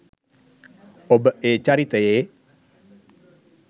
ඔබ ඒ චරිතයේ